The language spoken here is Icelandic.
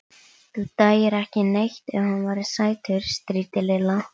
Þú dæir ekki neitt ef hann væri sætur. stríddi Lilla.